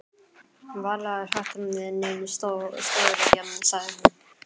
Varla er þetta nein stóriðja? sagði hún.